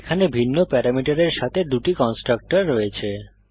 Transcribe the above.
এখানে ভিন্ন প্যারামিটারের সাথে দুটি কন্সট্রাকটর রয়েছে